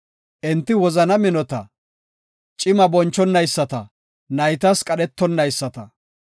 Enti wozana minota; cima bonchonayisata; naytas qadhetonayisata.